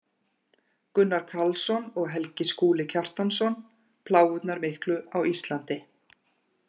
Gunnar Karlsson og Helgi Skúli Kjartansson: Plágurnar miklu á Íslandi